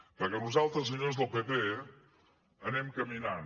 perquè nosaltres senyors del pp anem caminant